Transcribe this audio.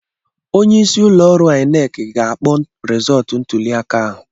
Onye isi ụlọ ọrụ INEC ga-akpọ rizọtụ ntuli aka ahụ.